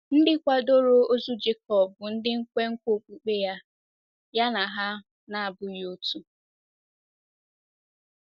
Ndị kwadoro ozu Jekọb bụ ndị nkwenkwe okpukpe ya na ha na - abụghị otu.